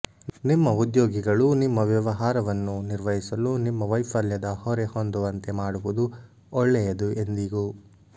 ನಿಮ್ಮ ಉದ್ಯೋಗಿಗಳು ನಿಮ್ಮ ವ್ಯವಹಾರವನ್ನು ನಿರ್ವಹಿಸಲು ನಿಮ್ಮ ವೈಫಲ್ಯದ ಹೊರೆ ಹೊಂದುವಂತೆ ಮಾಡುವುದು ಒಳ್ಳೆಯದು ಎಂದಿಗೂ